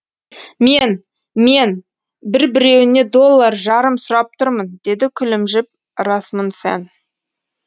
мен мен бір біреуіне доллар жарым сұрап тұрмын деді күлімжіп расмунсен